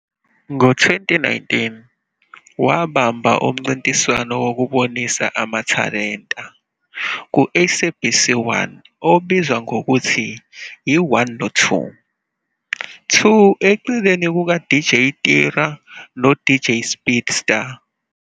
Ngo-2021, wabamba umncintiswano wokubonisa amathalenta ku-Sabc 1 obizwa ngokuthi i-"1 no-2"-2 eceleni kukaDJ Tira noDJ Speedsta.